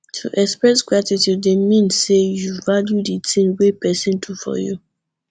to express gratitude de mean say you value di thing wey persin do for you